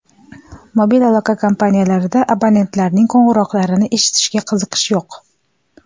Mobil aloqa kompaniyalarida abonentlarning qo‘ng‘iroqlarini eshitishga qiziqish yo‘q.